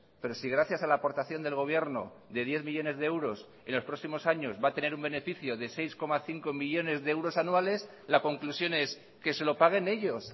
pero si gracias a la aportación del gobierno de diez millónes de euros en los próximos años va a tener un beneficio de seis coma cinco millónes de euros anuales la conclusión es que se lo paguen ellos